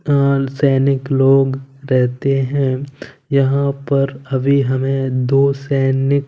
सैनिक लोग रहते हैं यहां पर अभी हमें दो सैनिक--